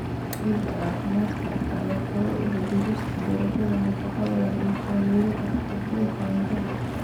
Ciidda caafimaadka qabta ayaa fure u ah beerista dalagyada nafaqada leh iyo taageeridda haqab-beelka cuntada.